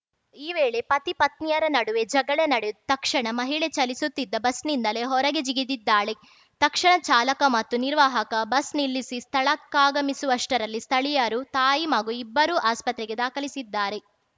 ಈ ವೇಳೆ ಪತಿ ಪತ್ನಿಯರ ನಡುವೆ ಜಗಳ ನಡೆದು ತಕ್ಷಣ ಮಹಿಳೆ ಚಲಿಸುತ್ತಿದ್ದ ಬಸ್‌ನಿಂದಲೇ ಹೊರಗೆ ಜಿಗಿದಿದ್ದಾಳೆ ತಕ್ಷಣ ಚಾಲಕ ಮತ್ತು ನಿರ್ವಾಹಕ ಬಸ್‌ ನಿಲ್ಲಿಸಿ ಸ್ಥಳಕ್ಕಾಗಮಿಸುವಷ್ಟರಲ್ಲಿ ಸ್ಥಳೀಯರು ತಾಯಿ ಮಗು ಇಬ್ಬರೂ ಆಸ್ಪತ್ರೆಗೆ ದಾಖಲಿಸಿದ್ದಾರೆ